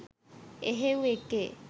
එහෙව් එකේ